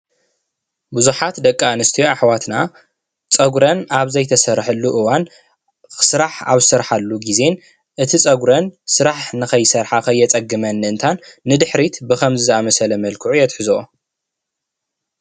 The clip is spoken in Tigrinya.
ብዙሓት ደቂ ኣንስትዮ ኣሕዋትና ፀጉረን ኣብ ዘይተሰርሓሉ እዋን ስራሕ ኣብ ዝሰርሓሉ ግዜ እቲ ፀጉረን ስራሕ ንከይሰርሓ ከየፀግመለን ንድሕሪት ብከምዚ ዝኣምሰለ መልክዑ የትሕዘኦ።